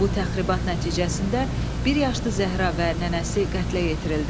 Bu təxribat nəticəsində bir yaşlı Zəhra və nənəsi qətlə yetirildi.